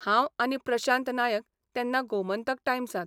हांव आनी प्रशांत नायक तेन्ना गोमंतक टायम्सांत.